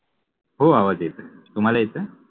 हो आवाज येत आहे. तुम्हाला येतोय?